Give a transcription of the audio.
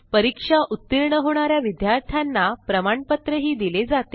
परीक्षा उत्तीर्ण होणा या विद्यार्थ्यांना प्रमाणपत्रही दिले जाते